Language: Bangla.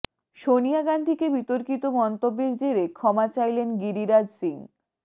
সোনিয়া গান্ধীকে বিতর্কিত মন্তব্যের জেরে ক্ষমা চাইলেন গিরিরাজ সিং